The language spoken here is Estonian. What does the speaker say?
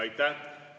Aitäh!